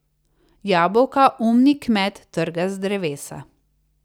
Jabolka umni kmet trga z drevesa.